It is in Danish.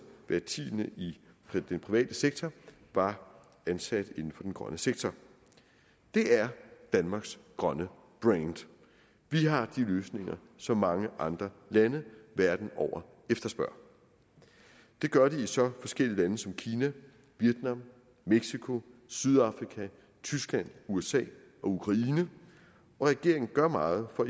hver tiende i den private sektor var ansat inden for den grønne sektor det er danmarks grønne brand vi har de løsninger som mange andre lande verden over efterspørger det gør de i så forskellige lande som kina vietnam mexico sydafrika tyskland usa og ukraine og regeringen gør meget for